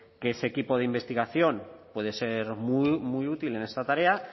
que ese equipo de investigación puede ser muy útil en esta tarea